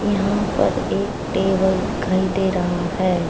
यहां पर एक टेबल दिखाई दे रहा है।